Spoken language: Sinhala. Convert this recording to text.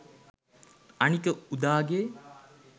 අනික උදා ගේ